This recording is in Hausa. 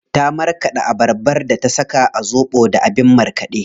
Ta marƙaɗa abarbar da ta saka a zobo da abin markaɗe.